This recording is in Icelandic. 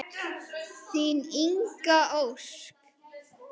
Þín Inga Ósk.